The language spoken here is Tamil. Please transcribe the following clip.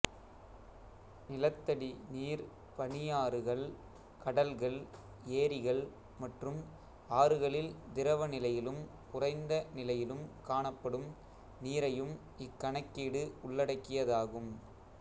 நிலத்தடி நீர் பனியாறுகள் கடல்கள் ஏரிகள் மற்றும் ஆறுகளில் திரவநிலையிலும் உறைந்த நிலையிலும் காணப்படும் நீரையும் இக்கணக்கீடு உள்ளடக்கியதாகும்